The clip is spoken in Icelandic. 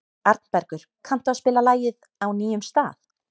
Arnbergur, kanntu að spila lagið „Á nýjum stað“?